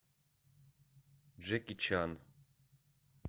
джеки чан